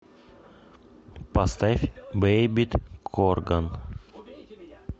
поставь бэйбит корган